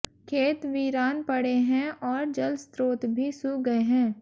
खेत वीरान पड़े हैं और जलस्रोत भी सूख गए हैं